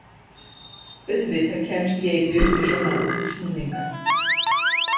Auðvitað kemst ég ekki upp með svona útúrsnúninga.